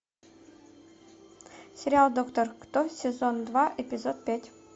сериал доктор кто сезон два эпизод пять